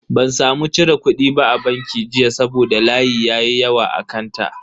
Ban samu cire kudi ba a banki jiya saboda layi ya yi yawa a kanta.